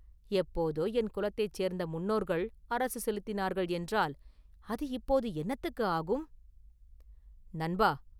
எப்போதோ என் குலத்தைச் சேர்ந்த முன்னோர்கள் அரசு செலுத்தினார்கள் என்றால், அது இப்போது என்னத்துக்கு ஆகும்.” “நண்பா!